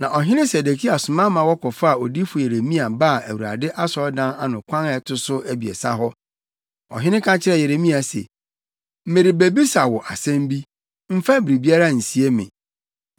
Na Ɔhene Sedekia soma ma wɔkɔfaa odiyifo Yeremia baa Awurade asɔredan ano kwan a ɛto so abiɛsa hɔ. Ɔhene ka kyerɛɛ Yeremia se, “Merebebisa wo asɛm bi, mfa biribiara nsie me.”